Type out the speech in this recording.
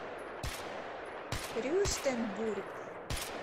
рюстенбург